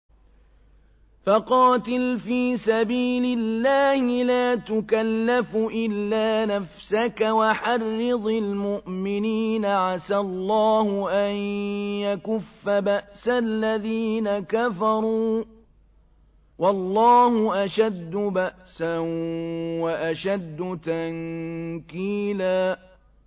فَقَاتِلْ فِي سَبِيلِ اللَّهِ لَا تُكَلَّفُ إِلَّا نَفْسَكَ ۚ وَحَرِّضِ الْمُؤْمِنِينَ ۖ عَسَى اللَّهُ أَن يَكُفَّ بَأْسَ الَّذِينَ كَفَرُوا ۚ وَاللَّهُ أَشَدُّ بَأْسًا وَأَشَدُّ تَنكِيلًا